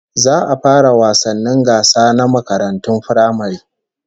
Za a fara wasannin gasa na makarantun firamare